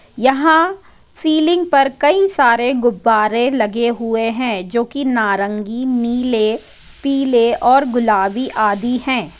यहां सीलिंग पर कई सारे गुब्बारे लगे हुए हैं जो की नारंगी नीले पीले और गुलाबी आदि है।